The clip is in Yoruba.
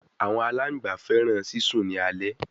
Awọn alangba fẹràn sisùn ni alẹ